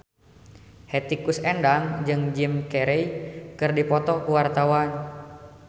Hetty Koes Endang jeung Jim Carey keur dipoto ku wartawan